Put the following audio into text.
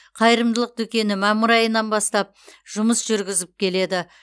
қайырымдылық дүкені мамыр айынан бастап жұмыс жүргізіп келеді